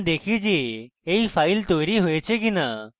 এখন দেখি যে এই file তৈরী হয়েছে কিনা